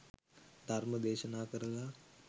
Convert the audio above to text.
ධර්ම දේශනා කරලා